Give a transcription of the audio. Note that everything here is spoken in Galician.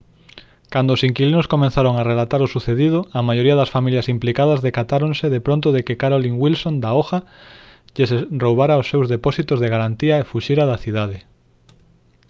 cando os inquilinos comezaron a relatar o sucedido a maioría das familias implicadas decatáronse de pronto de que carolyn wilson da oha lles roubara os seus depósitos de garantía e fuxira da cidade